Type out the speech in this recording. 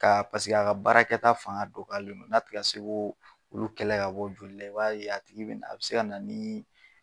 Ka paseke a ka baarakɛta fanga dɔgɔyalen don n'a tiga se k'olu kɛlɛ ka bɔ joli la, a b'a ye a tigi bina, a bi se ka na ni